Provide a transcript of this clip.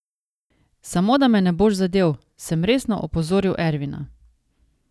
Samo da me ne boš zadel, sem resno opozoril Ervina.